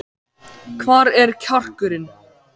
Hvar er kjarkurinn?